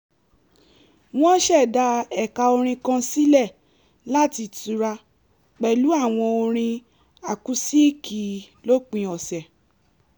wọ́n ṣẹ̀dá ẹ̀ka orin kan sílẹ̀ láti tura pẹ̀lú àwọn orin àkúsíìkì lópin ọ̀sẹ̀